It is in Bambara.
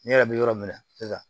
Ne yɛrɛ bɛ yɔrɔ min na sisan